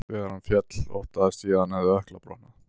Þegar hann féll óttaðist ég að hann hafi ökkla brotnað.